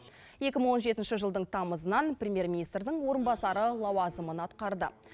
екі мың он жетінші жылдың тамызынан премьер министрдің орынбасары лауазымын атқарды